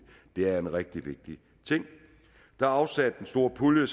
det er en rigtig vigtig ting der er afsat en stor pulje